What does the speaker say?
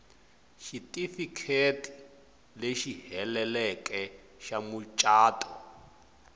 xitifiketi lexi heleleke xa mucato